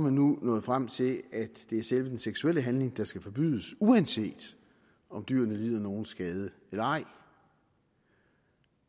man nu nået frem til at det er selve den seksuelle handling der skal forbydes uanset om dyrene lider nogen skade eller ej